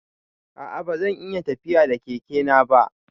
A'a ba zan iya tafiya da Keke na ba.